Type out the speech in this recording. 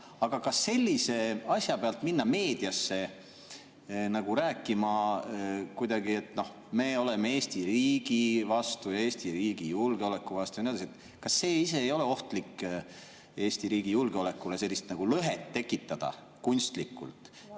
Aga sellise asja pealt minna meediasse rääkima kuidagi, et noh, me oleme Eesti riigi vastu ja Eesti riigi julgeoleku vastu ja nii edasi, kas see ei ole ohtlik Eesti riigi julgeolekule, kui sellist lõhet tekitada kunstlikult?